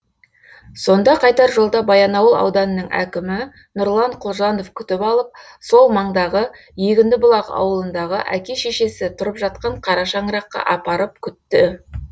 сонда қайтар жолда баянауыл ауданының әкімі нұрлан құлжанов күтіп алып сол маңдағы егінді бұлақ ауылындағы әке шешесі тұрып жатқан қара шаңыраққа апарып күтті